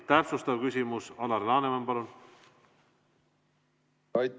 Täpsustav küsimus, Alar Laneman, palun!